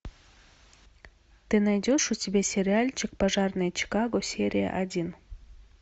ты найдешь у себя сериальчик пожарные чикаго серия один